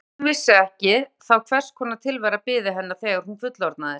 Jafn gott að hún vissi ekki þá hvers konar tilvera biði hennar þegar hún fullorðnaðist.